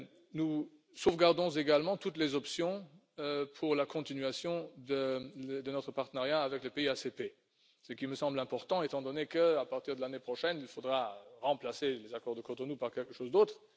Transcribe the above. Nous sauvegardons également toutes les options pour la continuation de notre partenariat avec les pays ACP, ce qui me semble important étant donné que, à partir de l'année prochaine, il faudra remplacer les accords de Cotonou par quelque chose d'autre.